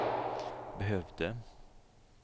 behövde